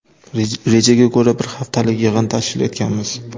Rejaga ko‘ra, bir haftalik yig‘in tashkil etganmiz.